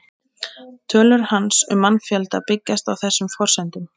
Tölur hans um mannfjölda byggjast á þessum forsendum.